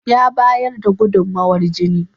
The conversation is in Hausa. Ya bayar da gudumowar jini.